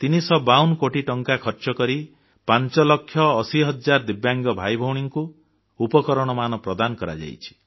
352 କୋଟି ଟଙ୍କା ଖର୍ଚ୍ଚକରି 5 ଲକ୍ଷ 80 ହଜାର ଦିବ୍ୟାଙ୍ଗ ଭାଇଭଉଣୀଙ୍କୁ ଉପକରଣମାନ ପ୍ରଦାନ କରାଯାଇଛି